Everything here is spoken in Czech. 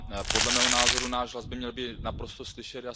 Podle mého názoru náš hlas by měl být naprosto slyšet.